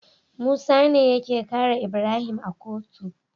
Musa ne yake kare Ibrahim a kotu